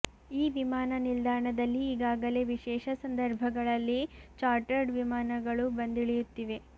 ಈ ವಿಮಾನ ನಿಲ್ದಾಣದಲ್ಲಿ ಈಗಾಗಲೇ ವಿಶೇಷ ಸಂದರ್ಭಗಳಲ್ಲಿ ಚಾರ್ಟರ್ಡ್ ವಿಮಾನಗಳು ಬಂದಿಳಿಯುತ್ತಿವೆ